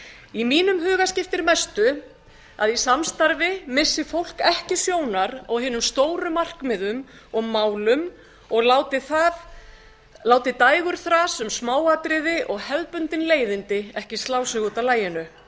í mínum huga skiptir mestu að í samstarfi missi fólk ekki sjónar á hinum stóru markmiðum og málum og láti dægurþras um smáatriði og hefðbundin leiðindi ekki slá sig út af laginu